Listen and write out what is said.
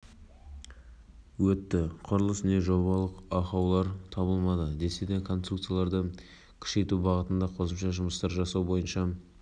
көрме кешенін тапсырыс беруші қабылдап алмағандықтан декоративтік конструкцияның барлық шығынын мердігер компания пен жобалаушы компания көтереді